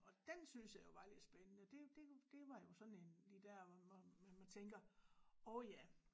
Og den synes jeg jo var lidt spændende det det det var jo sådan en lige der hvor hvor man tænker åh ja